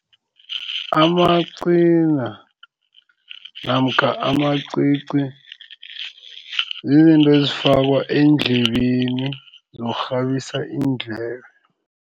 Amacina namkha amacici zizinto ezifakwa eendlebeni zokukghabisa iindlebe.